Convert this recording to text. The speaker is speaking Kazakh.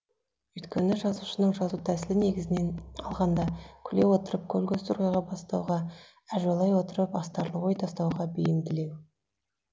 өйткені жазушының жазу тәсілі негізінен алғанда күле отырып көл көсір ойға бастауға әжуалай отырып астарлы ой тастауға бейімділеу